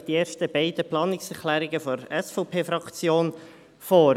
Ich stelle Ihnen die ersten beiden Planungserklärungen der SVP-Fraktion vor.